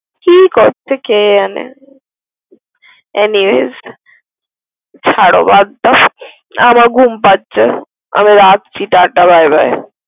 কি করছে কি যানে। anyways ছাড়ো বাদ দাও আমার ঘুম পাচ্ছে আমি রাখছি। Ta ta Bye Bye ।